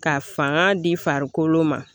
Ka fanga di farikolo ma